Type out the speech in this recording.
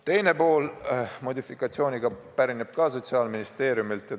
Teine pool – küll modifikatsiooniga – pärineb ka Sotsiaalministeeriumilt.